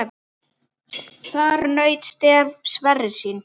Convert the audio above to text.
Þar naut Sverrir sín.